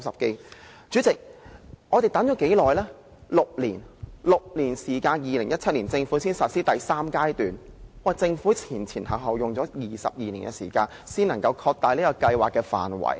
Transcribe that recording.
代理主席，我們等待了6年，政府在2017年才實施第三階段，前後花了22年的時間才擴大計劃的範圍。